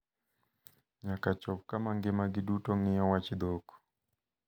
nyaka chop kama ngimagi duto ng`iyo wach dhok.